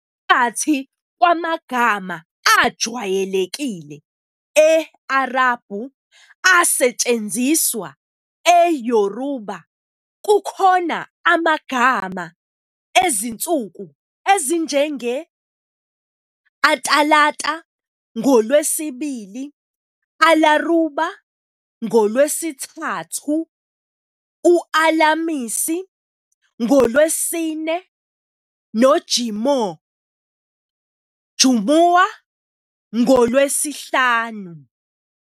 Phakathi kwamagama ajwayelekile e-Arabhu asetshenziswa eYoruba kukhona amagama ezinsuku ezinjenge- "Atalata", ngoLwesibili, "Alaruba" NgoLwesithathu, u-"Alamisi" NgoLwesine, "noJimoh", Jumu'ah ngoLwesihlanu.